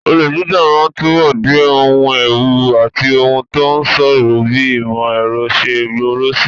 Olè jíjà máa túbọ̀ di ohun ewu àti ohun tó ṣòro bí ìmọ̀ ẹ̀rọ ṣe ń gbòòrò síi.